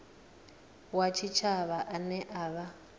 wa tshitshavha ane a vha